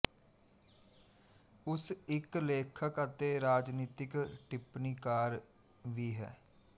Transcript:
ਉਸ ਇੱਕ ਲੇਖਕ ਅਤੇ ਰਾਜਨੀਤਿਕ ਟਿੱਪਣੀਕਾਰ ਵੀ ਹੈ